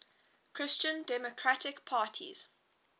christian democratic parties